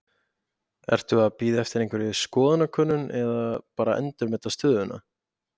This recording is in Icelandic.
Ertu að bíða eftir einhverjum skoðanakönnunum eða bara endurmeta stöðuna?